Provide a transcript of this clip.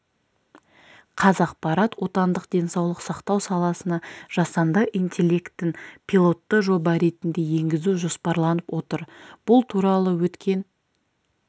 қазақпарат отандық денсаулық сақтау саласына жасанды интеллектін пилотты жоба ретінде енгізу жоспарланып отыр бұл туралы өткен